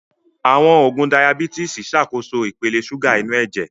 Àwọn oògùn Dayabítìsì Ṣàkóso ipele ṣúgà inú ẹ̀jẹ̀